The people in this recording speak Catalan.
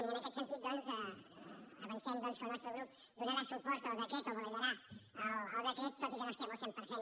i en aquest sentit doncs avancem que el nostre grup donarà suport al decret o validarà el decret tot i que no hi estem al cent per cent